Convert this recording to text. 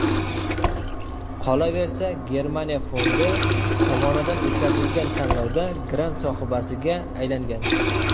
Qolaversa, Germaniya fondi tomonidan o‘tkazilgan tanlovda grant sohibasiga aylangan.